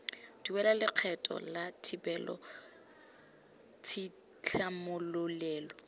duela lekgetho la thibelo tshitlhamololelo